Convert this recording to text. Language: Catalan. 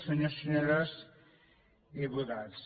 senyors i senyores diputats